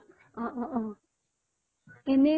অ অ অ এনেই